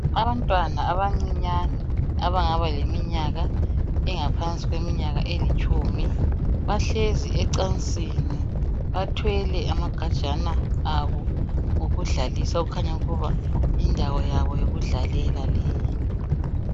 Abantwana abancinyane abangaba leminyaka engaphansi kweminyaka elitshumi bahlezi ecansini bathwele amagajana abo okudlalisa okukhanya ukuba yindawo yabo yokudlalela leyi.